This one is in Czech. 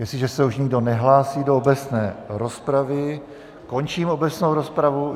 Jestliže se už nikdo nehlásí do obecné rozpravy, končím obecnou rozpravu.